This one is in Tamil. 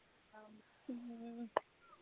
ஆமா ஹம்